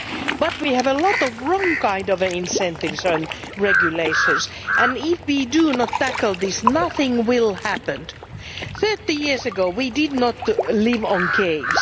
But we have a lot of wrong kinds of incentives and regulations, and if we do not tackle this, nothing will happen. Thirty years ago we did not live in caves.